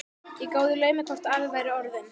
Ég gáði í laumi hvort afi væri orðinn